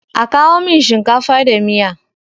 A kawo min shinkafa da miya.